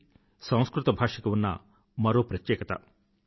ఇది సంస్కృత భాషకి ఉన్న మరో ప్రత్యేకత